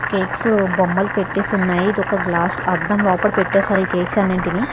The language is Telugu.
కేక్సు బొమ్మలు పెట్టేసి ఉన్నాయి ఇదొక గ్లాసు అద్దం లోపట పెట్టేసార్ ఈ కేక్స్ అన్నింటిని.